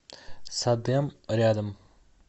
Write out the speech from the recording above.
садэм рядом